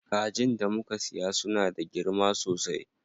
Kajin da muka siya suna da girma sosai.